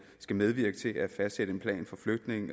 skal medvirke til at fastsætte en plan for flytning